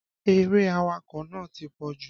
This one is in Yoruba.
Eré awakọ̀ nàá ti pọ̀jù.